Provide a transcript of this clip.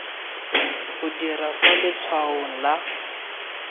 o dira fa letshwaong la